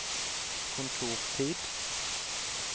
kontortid